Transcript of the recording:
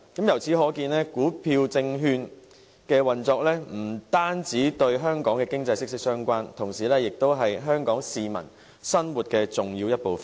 由此可見，股票證券的運作不單與香港的經濟息息相關，同時也是香港市民生活的重要一部分。